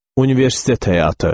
Universitet həyatı.